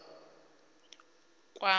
na u kwama muṋe wa